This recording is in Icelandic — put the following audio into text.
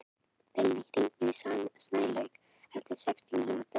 Vilný, hringdu í Snælaug eftir sextíu mínútur.